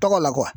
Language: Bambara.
Tɔgɔ la kuwa